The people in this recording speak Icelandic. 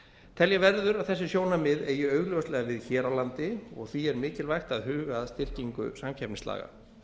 telja verður að þessi sjónarmið eigi augljóslega við hér á landi og því er mikilvægt að huga að styrkingu samkeppnislaga